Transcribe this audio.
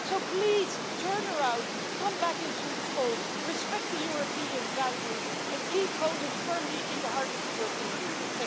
Please turn around, come back into the fold, respect European values and keep Poland firmly in the heart of the European Union.